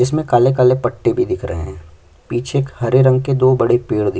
इसमें काले -काले पट्टी भी दिख रहे हैं पीछे एक हरे रंग के दो बड़े पेड़ दिख --